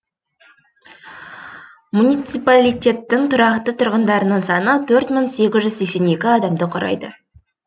муниципалитеттің тұрақты тұрғындарының саны төрт мың сегіз жүз сексен екі адамды құрайды